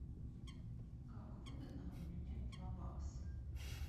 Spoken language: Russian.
как выгодно обменять два бакса